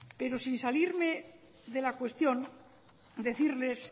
pero sin salirme de la cuestión decirles